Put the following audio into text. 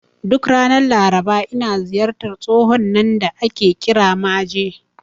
Duk ranar Laraba, ina ziyartar tsohon nan da ake kira Maje.